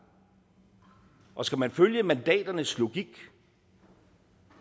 og skal man følge mandaternes logik